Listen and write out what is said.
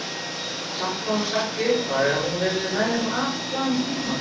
Samt hafði hún sagt í upphafi að hún yrði með þeim allan tímann.